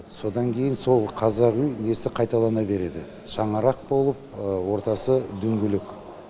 содан кейін сол қазақ үй несі қайталана береді шаңырақ болып ортасы дөңгелек